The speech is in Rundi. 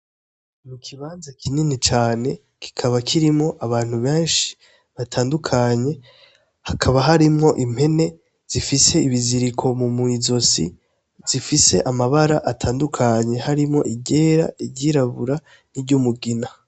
Mu kibanza kinini cane kikaba kirimo abantu benshi batandukanye, hakaba harimwo impene zifise ibiziriko mu mwizosi zifise amabara atandukanye harimwo iryera iryirabura n'i ry'umugina.